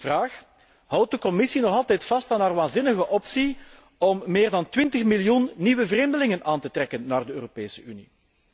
Vraag Houdt de Commissie nog altijd vast aan haar waanzinnige optie om meer dan 20 miljoen nieuwe vreemdelingen aan te trekken naar de Europese Unie?